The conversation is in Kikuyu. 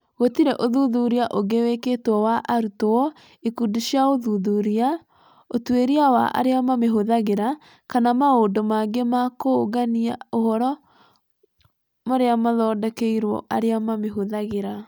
Gũtirĩ ũthuthuria ũngĩ wĩkĩtwo wa arutwo, ikundi cia ũthuthuria, ũtuĩria wa arĩa mamĩhũthagĩra, kana maũndũ mangĩ ma kũũngania ũhoro marĩa maathondekirũo arĩa mamĩhũthagĩra.